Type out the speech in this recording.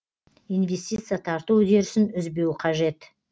инвестиция тарту үдерісін үзбеу қажет